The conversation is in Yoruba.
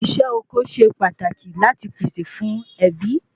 Isé oko se pataki lati pèsè fún ebi